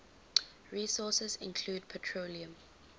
resources include petroleum